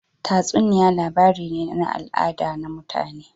Tatsuniya labari ne na al'ada na mutane